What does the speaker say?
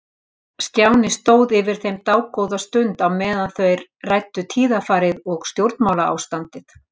Stjáni stóð yfir þeim dágóða stund á meðan þeir ræddu tíðarfarið og stjórnmálaástandið.